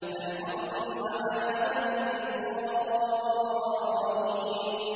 أَنْ أَرْسِلْ مَعَنَا بَنِي إِسْرَائِيلَ